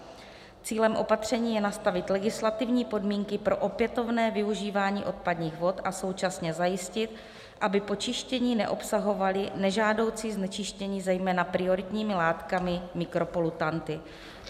Cílem opatření je nastavit legislativní podmínky pro opětovné využívání odpadních vod a současně zajistit, aby po čištění neobsahovaly nežádoucí znečištění zejména prioritními látkami - mikropolutanty."